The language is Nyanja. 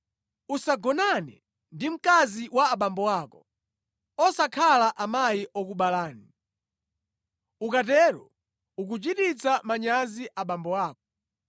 “ ‘Usagonane ndi mkazi wa abambo ako (osakhala amayi okubala). Ukatero ukuchititsa manyazi abambo ako.